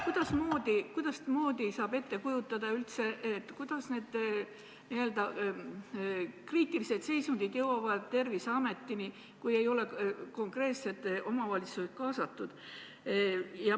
Kuidasmoodi saab üldse ette kujutada, et teave nende n-ö kriitiliste seisundite kohta jõuab Terviseametini, kui konkreetsed omavalitsused ei ole kaasatud?